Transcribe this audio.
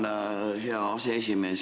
Tänan, hea aseesimees!